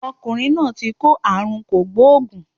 Ọkùnrin náà ti kó àrùn kògbóògùn